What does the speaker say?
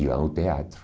Iam ao teatro.